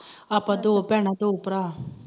ਆਪਾ ਦੋ ਭੈਣਾਂ ਦੋ ਭਰਾਂ